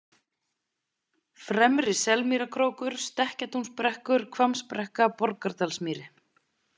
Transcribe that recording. Fremri- Selmýrarkrókur, Stekkjartúnsbrekkur, Hvammsbrekka, Borgardalsmýri